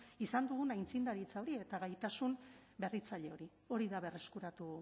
izan dugun aitzindaritza hori eta gaitasun berritzaile hori hori da berreskuratu